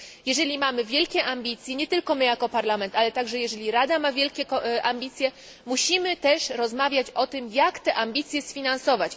Jeżeli mamy wielkie ambicje, nie tylko my jako Parlament, ale także jeżeli Rada ma wielkie ambicje, musimy też rozmawiać o tym, jak te ambicje sfinansować.